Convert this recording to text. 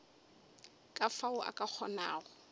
ka fao a ka kgonago